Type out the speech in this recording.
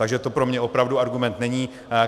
Takže to pro mě opravdu argument není.